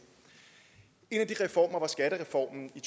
en af de reformer var skattereformen i